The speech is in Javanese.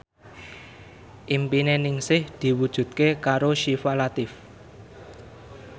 impine Ningsih diwujudke karo Syifa Latief